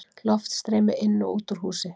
Loftstreymi inn og út úr húsi.